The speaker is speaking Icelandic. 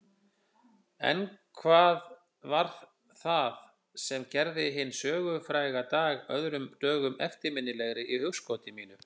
En hvað var það sem gerði hinn sögufræga dag öðrum dögum eftirminnilegri í hugskoti mínu?